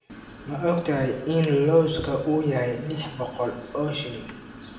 Ma ogtahay in lawska uu yahay lix boqol oo shilin?